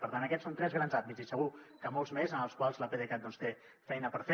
per tant aquests són tres grans àmbits i segur que molts més en els quals l’apdcat té feina per fer